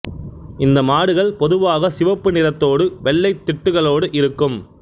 இந்த மாடுகள் பொதுவாக சிவப்பு நிறத்தோடு வெள்ளை திட்டுக்களோடு இருக்கும்